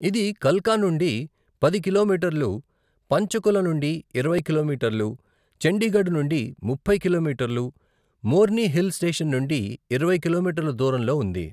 ఇది కల్కా నుండి పది కిలోమీటర్లు, పంచకుల నుండి ఇరవై కిలోమీటర్లు, చండీగఢ్ నుండి ముప్పై కిలోమీటర్లు, మోర్ని హిల్ స్టేషన్ నుండి ఇరవై కిలోమీటర్ల దూరంలో ఉంది.